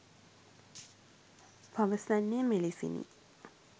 පවසන්නේ මෙලෙසිනි